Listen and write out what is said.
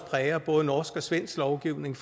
præger både norsk og svensk lovgivning